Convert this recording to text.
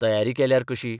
तयारी केल्यार कशी?